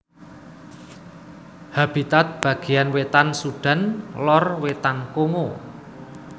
Habitat bagéyan wétan Sudan lor wétan Kongo